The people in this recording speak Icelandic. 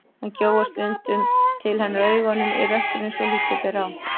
Hann gjóar stundum til hennar augunum í rökkrinu svo að lítið ber á.